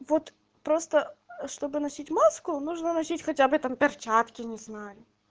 вот просто чтобы носить маску нужно носить хотя бы там перчатки не знаю